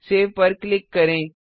save पर click करें